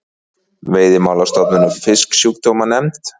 Veiðimálastofnun og Fisksjúkdómanefnd.